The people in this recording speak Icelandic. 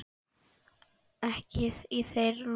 Ekki er í þér lús